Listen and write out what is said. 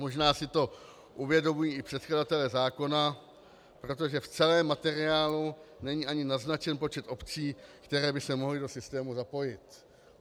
Možná si to uvědomují i předkladatelé zákona, protože v celém materiálu není ani naznačen počet obcí, které by se mohly do systému zapojit.